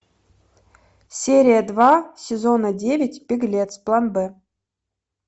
серия два сезона девять беглец план б